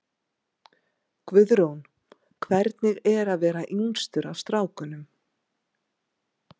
Guðrún: Hvernig er að vera yngstur af strákunum?